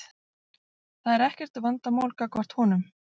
Það er ekkert vandamál gagnvart honum.